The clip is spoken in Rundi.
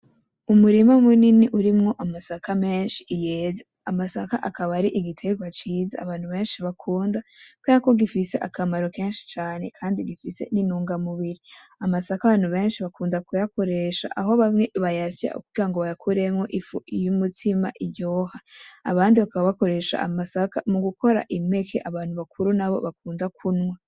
Umurima munini urimwo amasaka menshi yeze. Amasaka akaba ari igterwa ciza abantu benshi bakunda kubera ko gifise akamaro kenshi cane kandi gifise n'intungamubiri. Amasaka abantu benshi bakunda kuyakoresha aho bamwe bayasya kugira bayakuremwo ifu y'umutsima iryoha, abandi bakaba bakoresha amasaka mu gukora impeke abantu bakuru nabo bakunda kunywa.